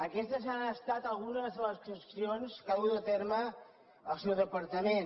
aquestes han estat algunes de les actuacions que ha dut a terme el seu departament